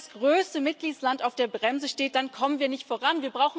Wenn das größte Mitgliedsland auf der Bremse steht, dann kommen wir nicht voran.